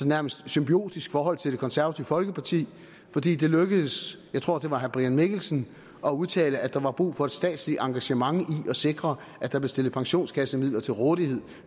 nærmest symbiotisk forhold til det konservative folkeparti fordi det lykkedes jeg tror det var herre brian mikkelsen at udtale at der var brug for et statsligt engagement i at sikre at der blev stillet pensionskassemidler til rådighed